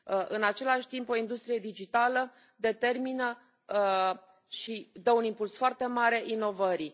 În același timp, o industrie digitală determină și dă un impuls foarte mare inovării.